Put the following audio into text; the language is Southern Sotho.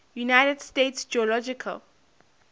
united states geological